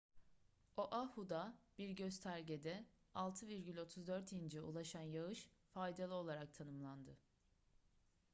oahu'da bir göstergede 6,34 inç'e ulaşan yağış faydalı olarak tanımlandı